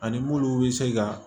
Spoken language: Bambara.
Ani munnu bɛ se ka